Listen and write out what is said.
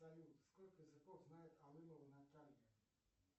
салют сколько языков знает алымова наталья